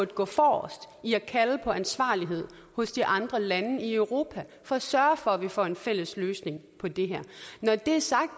gå forrest i at kalde på ansvarlighed hos de andre lande i europa for at sørge for at man får en fælles løsning på det her når det er sagt